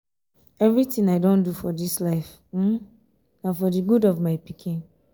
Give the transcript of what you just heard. everything i don do for dis life um na for the good of my pikin